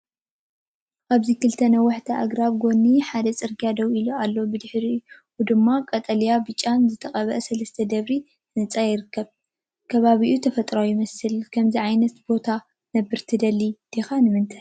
ኣብዚ ክልተ ነዋሕቲ ኣግራብ ኣብ ጎኒ ሓደ ጽርግያ ደው ኢሎም ኣለዉ። ኣብ ድሕሪት ድማ ቀጠልያን ብጫን ዝተቐብአ ሰለስተ ደርቢ ህንጻ ይርአ። ከባቢኡ ተፈጥሮኣዊ ይመስል። ኣብ ከምዚ ዝበለ ቦታ ክትነብር ትደሊ ዲኻ? ንምንታይ?